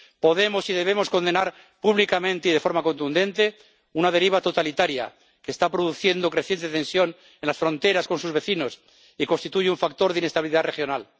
Podemos y debemos condenar públicamente y de forma contundente una deriva totalitaria que está produciendo creciente tensión en las fronteras con sus vecinos y constituye un factor de inestabilidad regional.